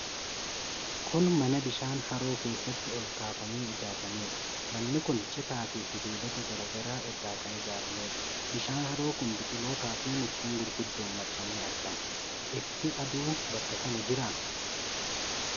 Kun mana bishaan haroo keessatti ol kaafamee ijaaramedha. Manni kun citaa fi sibiilota garaa garaa irraa kan ijaaramedha. Bishaan haroo kun biqiloota fi mukkeen gurguddoon marfamee argama. Ifti aduu bakka kana jiraa?